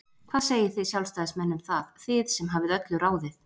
Hvað segið þið Sjálfstæðismenn um það, þið sem hafið öllu ráðið?